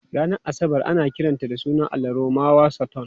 Ranar Asabar ana kiran sunan allahn Romawa Saturn.